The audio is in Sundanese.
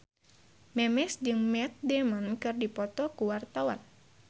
Memes jeung Matt Damon keur dipoto ku wartawan